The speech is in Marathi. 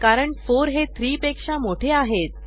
कारण4 हे 3 पेक्षा मोठे आहेत